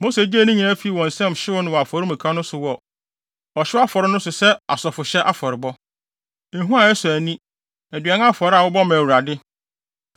Mose gyee ne nyinaa fii wɔn nsam hyew no wɔ afɔremuka no so wɔ ɔhyew afɔre no so sɛ asɔfohyɛ afɔrebɔ, ehua a ɛsɔ ani, aduan afɔre a wɔbɔ ma Awurade.